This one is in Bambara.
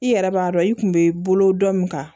I yɛrɛ b'a dɔn i kun be bolo dɔ min ka